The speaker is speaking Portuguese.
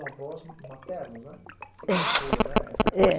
Avós maternos, né? Você contou, né? Essa parte, é.